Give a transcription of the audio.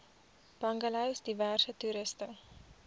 bungalows diverse toerusting